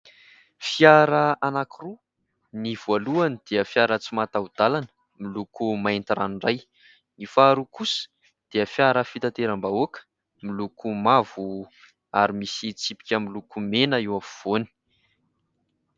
Fiara anakiroa : ny voalohany dia fiara tsy mahataho-dalana miloko mainty ranoray, ny faharoa kosa dia fiara fitanteram-bahoaka miloko mavo ary misy tsipika miloko mena eo afovoany.